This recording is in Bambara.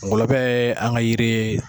Ngɔlɔbɛ ye an ga yiri ye